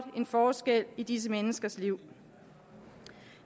en forskel i disse menneskers liv